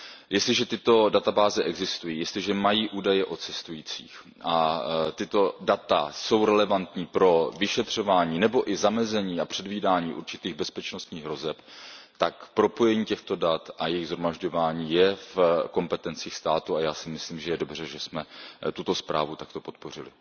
Jestliže tyto databáze existují, jestliže mají údaje o cestujících a tato data jsou relevantní pro vyšetřování nebo i zamezení a předvídání určitých bezpečnostních hrozeb, tak propojení těchto dat a jejich shromažďování je v kompetencích států a já si myslím, že je dobře, že jsme tuto zprávu takto podpořili.